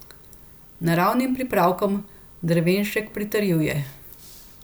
Naravnim pripravkom Drevenšek pritrjuje.